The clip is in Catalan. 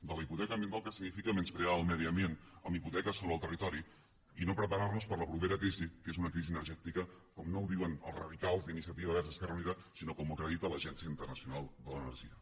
de la hipoteca ambiental que significa menysprear el medi ambient amb hipoteques sobre el territori i no preparar nos per a la propera crisi que és una crisi energètica com no ho diuen els radicals d’iniciativa verds esquerra unida sinó com ho acredita l’agència internacional de l’energia